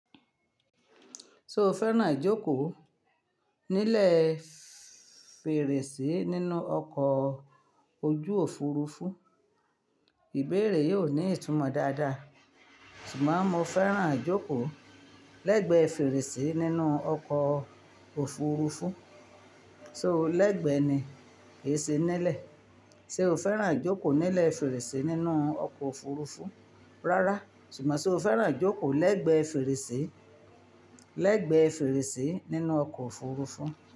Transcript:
Ṣé o fẹ́ràn jókòó nílẹ̀ fèrèsé nínú ọkọ̀ ojú Òfurufú? Ìbéèrè yìí ò ní ìtumọ́ dáadáa. Ṣùgbọ́n mo fẹ́ràn jókòó lẹ́gbẹ̀ẹ́ fèrèsé nínú ọkọ̀ Òfurufú. So lẹ́gbẹ̀ẹ́ ni kèése nílẹ̀? Ṣé o fẹ́ràn jókòó nílẹ̀ fèrèsé nínú ọkọ̀ Òfurufú rárá, ṣùgbọ́n ṣe o fẹ́ràn jókòó lẹ́gbẹ̀ẹ́ fèrèsé, lẹ́gbẹ̀ẹ́ fèrèsé nínú ọkọ̀ Òfurufú?